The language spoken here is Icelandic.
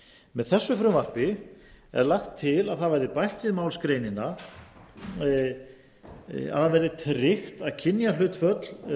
með þessu frumvarpi er lagt til að bætt verði við málsgreinina að það verði tryggt að kynjahlutföll